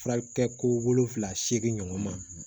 Fura kɛ ko wolonfila seegin ɲɔgɔn ma